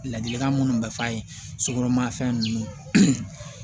Ladilikan minnu bɛ f'a ye sokɔnɔ ma fɛn ninnu